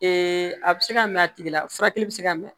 a bɛ se ka mɛ a tigi la furakɛli bɛ se ka mɛ